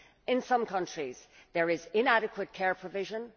In some countries there is inadequate care provision